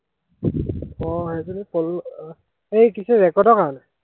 আহ সেইজনী পল্ল এৰ সেই কি যে ৰেকৰ্ডৰ কাৰনে